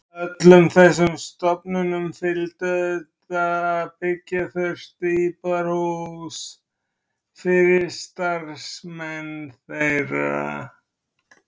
Öllum þessum stofnunum fylgdi auðvitað að byggja þurfti íbúðarhús yfir starfsmenn þeirra.